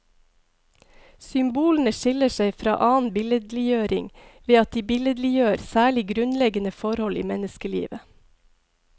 Symbolene skiller seg fra annen billedliggjøring ved at de billedliggjør særlig grunnleggende forhold i menneskelivet.